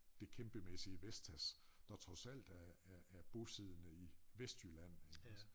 Det kæmpemæssige Vestas der trods alt er er er bosiddende i Vestjylland iggås